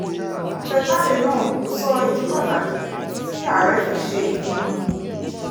àtẹ̀jáde náà kò sọ ìdí pàtó tí ààrẹ fi ṣe ìpinnu yìí